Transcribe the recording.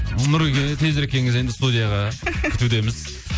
нұреке тезірек келіңіз енді студияға күтудеміз